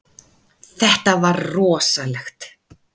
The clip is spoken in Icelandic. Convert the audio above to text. Þetta var rosalegt.